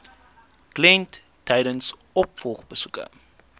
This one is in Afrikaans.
kliënt tydens opvolgbesoeke